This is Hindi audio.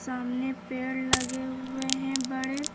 सामने पेड़ लगे हुए हैं बड़े।